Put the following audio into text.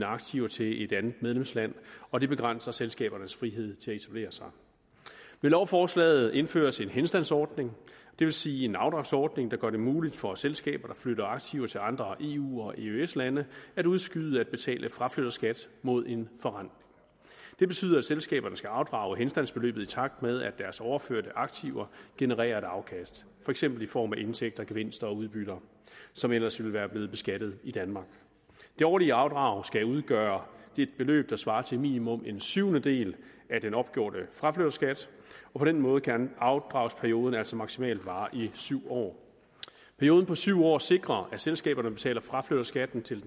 aktiver til et andet medlemsland og det begrænser selskabernes frihed til at etablere sig med lovforslaget indføres en henstandsordning det vil sige en afdragsordning der gør det muligt for selskaber der flytter aktiver til andre eu og eøs lande at udskyde at betale fraflytterskat mod en forrentning det betyder at selskaberne skal afdrage henstandsbeløbet i takt med at deres overførte aktiver genererer et afkast for eksempel i form af indtægter gevinster og udbytter som ellers ville være blevet beskattet i danmark det årlige afdrag skal udgøre et beløb der svarer til minimum en syvendedel af den opgjorte fraflytterskat og på den måde kan afdragsperioden altså maksimalt vare i syv år perioden på syv år sikrer at selskaberne betaler fraflytterskatten til